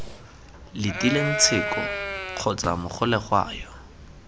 letileng tsheko kgotsa mogolegwa yo